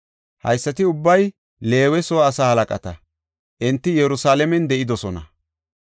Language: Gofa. Haysati ubbay Leewe soo asaa halaqata; enti Yerusalaamen de7idosona.